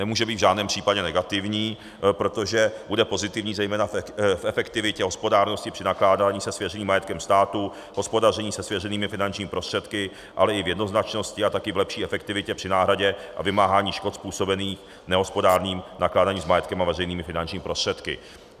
Nemůže být v žádném případě negativní, protože bude pozitivní zejména v efektivitě hospodárnosti při nakládání se svěřeným majetkem státu, hospodaření se svěřenými finančními prostředky, ale i v jednoznačnosti a také v lepší efektivitě při náhradě a vymáhání škod způsobených nehospodárným nakládáním s majetkem a veřejnými finančními prostředky.